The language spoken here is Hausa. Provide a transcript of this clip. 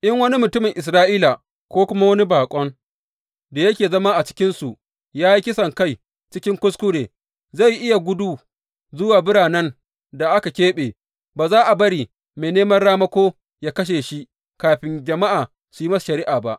In wani mutumin Isra’ila ko kuma wani baƙon da yake zama a cikinsu, ya yi kisankai cikin kuskure, zai iya gudu zuwa biranen da aka keɓe, ba za a bari mai neman ramako yă kashe shi kafin jama’a su yi masa shari’a ba.